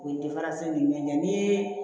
U ye ɲɛ ni ye